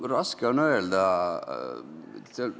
Raske öelda.